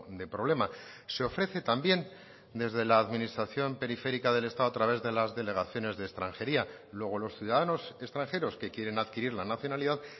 de problema se ofrece también desde la administración periférica del estado a través de las delegaciones de extranjería luego los ciudadanos extranjeros que quieren adquirir la nacionalidad